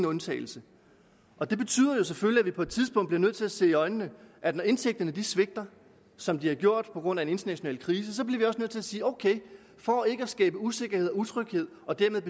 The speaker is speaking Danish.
undtagelse det betyder jo selvfølgelig at vi på et tidspunkt bliver nødt til at se i øjnene at når indtægterne svigter som de har gjort på grund af den internationale krise bliver vi nødt til at sige at ok for ikke at skabe usikkerhed og utryghed og dermed